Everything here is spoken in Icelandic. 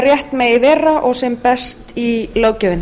rétt megi vera og sem best í löggjöfinni